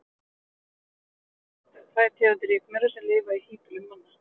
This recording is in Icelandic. Hér á landi eru þekktar tvær tegundir rykmaura sem lifa í híbýlum manna.